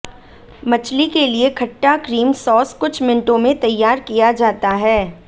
मछली के लिए खट्टा क्रीम सॉस कुछ मिनटों में तैयार किया जाता है